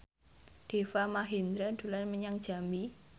Deva Mahendra dolan menyang Jambi